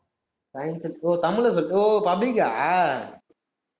science ஓ தமிழ்ல சொல்லு ஓ